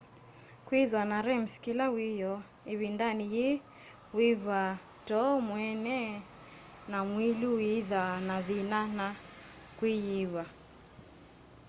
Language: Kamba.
kwithwa na rems kila wiyoo ivindani yii wiw'aa too mweene na mwii uyithwa na thina na kwiyiw'a